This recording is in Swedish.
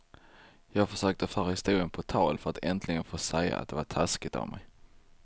Jag försökte föra historien på tal för att äntligen få säga att det var taskigt av mig.